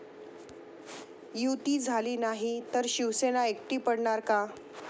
युती' झाली नाही तर शिवसेना एकटी पडणार का?